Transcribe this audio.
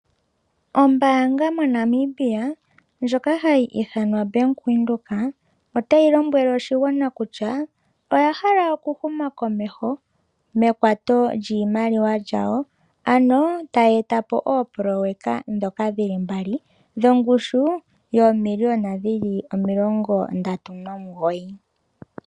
Ombaanga moNamibia ndjoka hayi ithanwa Bank Windhoek otayi lombwele oshigwana kutya oya hala oku huma komeho, mekwato lyiimaliwa yawo ano tayi e ta po oopoloyeka ndhoka dhi li mbali lyongushu yoomiliyona dhi li omilongo ndatu nomugoyi.